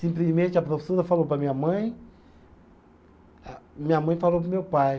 Simplesmente a professora falou para minha mãe a, minha mãe falou para o meu pai.